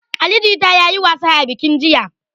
Ali jita ya yi wasa a bikin jiya.